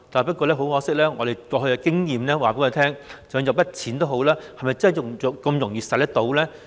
不過，很可惜，過去的經驗告訴我們，即使有一筆錢，也不一定容易用到。